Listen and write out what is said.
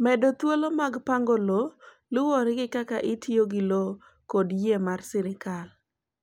Medo thuolo mag pango lowo luwore gi kaka itiyo gi lowo kod yie mar sirkal.